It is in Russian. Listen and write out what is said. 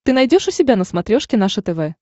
ты найдешь у себя на смотрешке наше тв